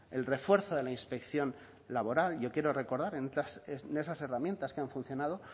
el refuerzo de la inspección laboral yo quiero recordar en esas herramientas que han funcionado